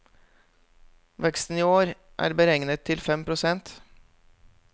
Veksten i år er beregnet til fem prosent.